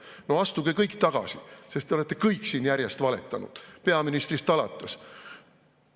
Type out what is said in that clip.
No astuge kõik tagasi, sest te olete kõik siin järjest valetanud, peaministrist alates.